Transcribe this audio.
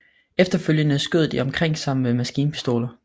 Efterfølgende skød de omkring sig med maskinpistoler